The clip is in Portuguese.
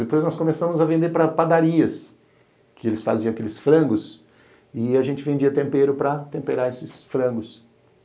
Depois nós começamos a vender para padarias, que eles faziam aqueles frangos, e a gente vendia tempero para temperar esses frangos.